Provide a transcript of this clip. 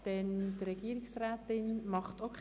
Wünscht die Regierungsrätin das Wort?